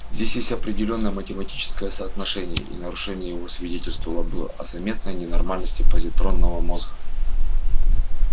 здесь есть определённое математическое соотношение и нарушение его свидетельствовало бы о заметной ненормальности позитронного мозга